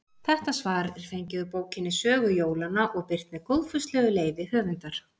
Þetta svar er fengið úr bókinni Sögu jólanna og birt með góðfúslegu leyfi höfundar.